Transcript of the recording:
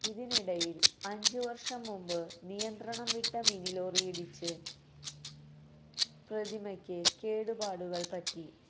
ഇതിനിടയില് അഞ്ച് വര്ഷം മുമ്പ് നിയന്ത്രണം വിട്ട മിനിലോറിയിടിച്ച് പ്രതിമക്ക് കേടുപാടുകള് പറ്റി